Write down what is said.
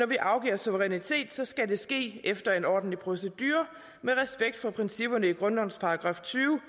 vi afgiver suverænitet skal ske efter en ordentlig procedure med respekt for principperne i grundlovens § tyvende